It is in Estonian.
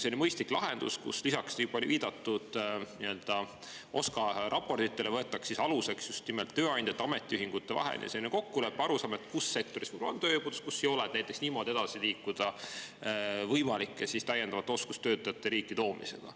See oli mõistlik lahendus: lisaks viidatud OSKA raportitele võtta aluseks just nimelt tööandjate ja ametiühingute vaheline kokkulepe ja arusaam, millises sektoris võib-olla on tööjõupuudus ja millises sektoris ei ole, ja niimoodi siis edasi liikuda võimalike täiendavate oskustöötajate riiki toomisega.